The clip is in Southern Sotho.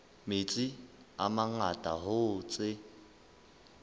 metsi a mangata hoo tse